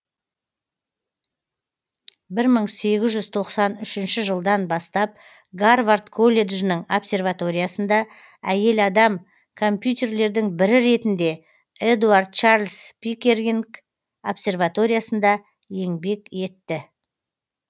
бір мың сегіз жүз тоқсан үшінші жылдан бастап гарвард колледжінің обсерваториясында әйел адам компьютерлердің бірі ретінде эдуард чарльз пиккеринг обсерваториясында еңбек етті